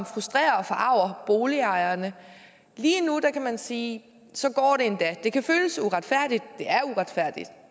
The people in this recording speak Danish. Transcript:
frustrerer og forarger boligejerne lige nu kan man sige at så går det endda det kan føles uretfærdigt